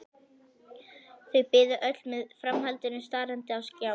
Þau biðu öll eftir framhaldinu starandi á skjáinn.